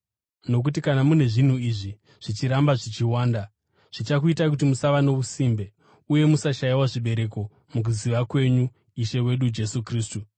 Nokuti kana mune zvinhu izvi, zvichiramba zvichiwanda, zvichakuitai kuti musava nousimbe uye musashayiwa zvibereko mukuziva kwenyu Ishe wedu Jesu Kristu.